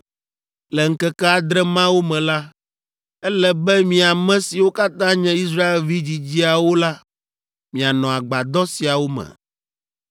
Le ŋkeke adre mawo me la, ele be mi ame siwo katã nye Israelvi dzidziawo la, mianɔ agbadɔ siawo me.